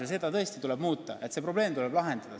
Ja seda regulatsiooni tõesti tuleb muuta, see probleem tuleb lahendada.